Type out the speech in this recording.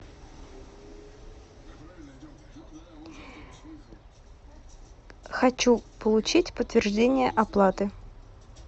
хочу получить подтверждение оплаты